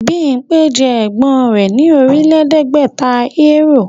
Bímpé jẹ ẹ̀gbọ́n rẹ̀ ní Ọ̀rìnlẹ̀ẹ́dẹ́gbẹ̀ta Euro